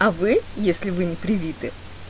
а вы если вы не привиты